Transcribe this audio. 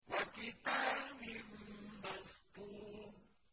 وَكِتَابٍ مَّسْطُورٍ